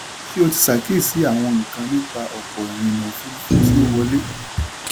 ṣé o ti ṣàkíyèsí àwọn nǹkan nípa ọ̀pọ̀ ìrìnà ofurufú tí ó ń wọlé?